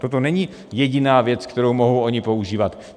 Toto není jediná věc, kterou mohou oni používat.